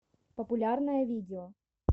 популярное видео